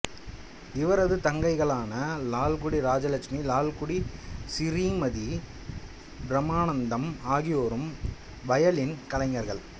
இவரது தங்கைகளான லால்குடி இராஜலட்சுமி லால்குடி சிறீமதி பிரம்மானந்தம் ஆகியோரும் வயலின் கலைஞர்கள்